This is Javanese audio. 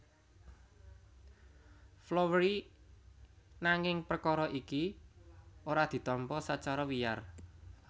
Floweri nanging perkara iki ora ditampa sacara wiyar